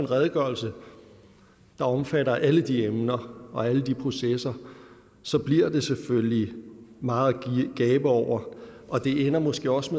redegørelse der omfatter alle de emner og alle de processer bliver det selvfølgelig meget at gabe over og det ender måske også